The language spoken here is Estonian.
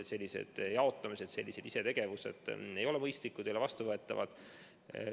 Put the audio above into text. Sellised isetegevuslikud jaotamised ei ole mõistlikud, ei ole vastuvõetavad.